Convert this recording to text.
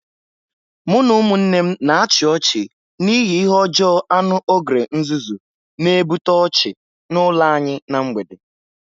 Mụ na ụmụnne m na-achị ọchị n'ihi ihe ọjọọ anu ogre nzuzu, na-ebute ọchị n'ụlọ anyị ná mgbede.